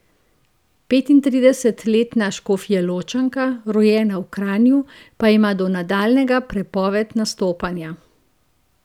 Petintridesetletna Škofjeločanka, rojena v Kranju, pa ima do nadaljnjega prepoved nastopanja.